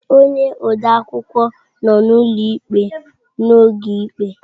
Ee, onye ode akwụkwọ nọ n'ụlọ ikpe n'oge ikpe.